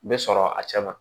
Bɛ sɔrɔ a cɛ ma